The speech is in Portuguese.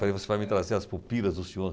você vai me trazer As Pulpilas do senhor.